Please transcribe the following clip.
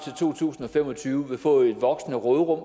to tusind og fem og tyve vil få et voksende råderum